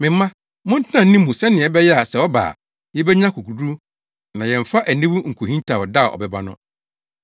Me mma, montena ne mu sɛnea ɛbɛyɛ a sɛ ɔba a, yebenya akokoduru na yɛmfa aniwu nkohintaw da a ɔbɛba no.